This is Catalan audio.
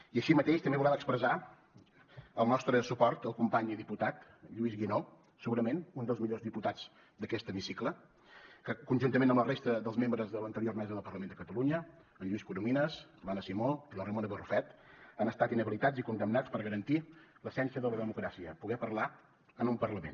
i així mateix també volem expressar el nostre suport al company i diputat lluís guinó segurament un dels millors diputats d’aquest hemicicle que conjuntament amb la resta dels membres de l’anterior mesa del parlament de catalunya en lluís corominas l’anna simó i la ramona barrufet han estat inhabilitats i condemnats per garantir l’essència de la democràcia poder parlar en un parlament